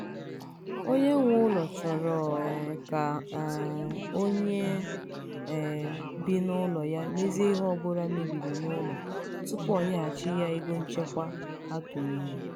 onye nwe ụlọ chọrọ um ka um onye um bi n'ụlọ ya mezie ihe ọbụla mebiri n'ụlọ tupu o nyeghachi ha ego nchekwa ha tụnyere.